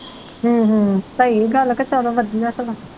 ਹਮ ਸਹੀ ਗੱਲ ਕਿ ਚਲੋ ਵਧੀਆ ਸਗੋਂ